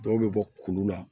Dɔw bɛ bɔ kulu la